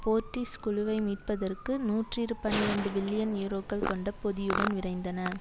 போர்ட்டிஸ் குழுவை மீட்பதற்கு நூற்றி பனிரண்டு பில்லியன் யூரோக்கள் கொண்ட பொதியுடன் விரைந்தன